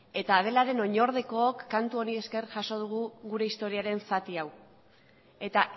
eta adelaren oinordekook kantu honen esker jaso dugu gure historiaren zati hau eta